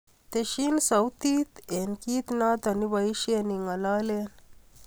Tesyin sautit eng kiit noto ipoishen ingalalen